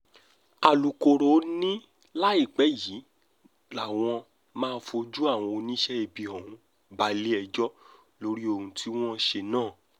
alūkkóró ni láìpẹ́ yìí làwọn máa fojú àwọn oníṣẹ́ ibi ọ̀hún balẹ̀-ẹjọ́ lórí ohun tí wọ́n ṣe náà